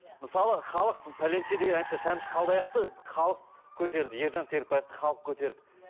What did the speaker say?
мысалы халық пәленше деген әнші шәмші қалдаяқовты халық көтерді ержан серікбаевті халық көтерді